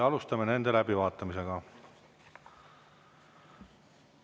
Alustame nende läbivaatamisega.